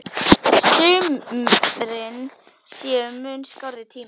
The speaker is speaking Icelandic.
Sumrin séu mun skárri tími.